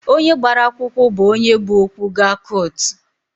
Onye gbara akwụkwụ bụ onye bu okwu gaa kụtụ